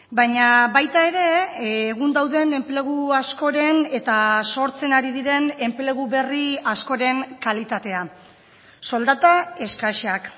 baina baita ere egun dauden enplegu askoren eta sortzen ari diren enplegu berri askoren kalitatea soldata eskasak